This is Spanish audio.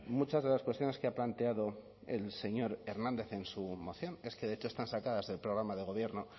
muchas de las cuestiones que ha planteado el señor hernández en su moción es que de hecho están sacadas del programa de gobierno